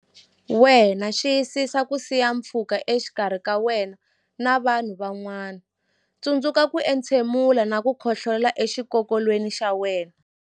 wena Xiyisisa ku siya pfhuka exikarhi ka wena na vanhu van'wana Tsundzuka ku entshemula na ku khohlolela exikokolweni xa wena